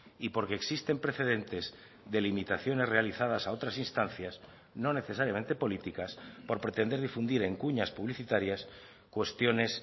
y porque existen precedentes de limitaciones realizadas a otras instancias no necesariamente políticas por pretender difundir en cuñas publicitarias cuestiones